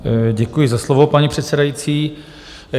Děkuji za slovo, paní předsedající.